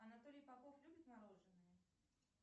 анатолий попов любит мороженое